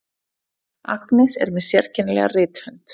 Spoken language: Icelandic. Agnes er með sérkennilega rithönd.